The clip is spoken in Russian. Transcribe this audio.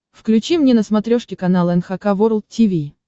включи мне на смотрешке канал эн эйч кей волд ти ви